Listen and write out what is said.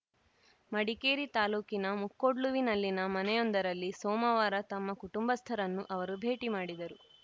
ಮಡಿಕೇರಿ ತಾಲೂಕಿನ ಮುಕ್ಕೊಡ್ಲುವಿನಲ್ಲಿನ ಮನೆಯೊಂದರಲ್ಲಿ ಸೋಮವಾರ ತಮ್ಮ ಕುಟುಂಬಸ್ಥರನ್ನು ಅವರು ಭೇಟಿ ಮಾಡಿದರು